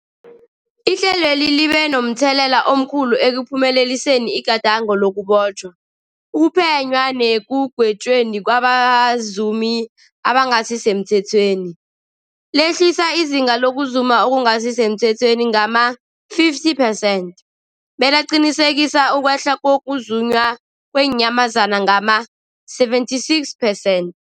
Ihlelweli libe momthelela omkhulu ekuphumeleliseni igadango lokubotjhwa, ukuphenywa nekugwetjweni kwabazumi abangasisemthethweni, lehlisa izinga lokuzuma okungasi semthethweni ngama-50 percent, belaqinisekisa ukwehla kokuzunywa kweenyamazana ngama-76 percent.